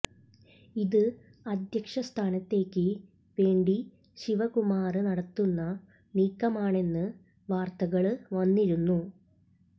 ഇത് അദ്ധ്യക്ഷ സ്ഥാനത്തേക്ക് വേണ്ടി ശിവകുമാര് നടത്തുന്ന നീക്കമാണെന്ന് വാര്ത്തകള് വന്നിരുന്നു